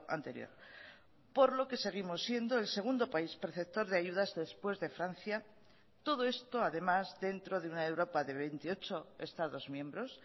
anterior por lo que seguimos siendo el segundo país perceptor de ayudas después de francia todo esto además dentro de una europa de veintiocho estados miembros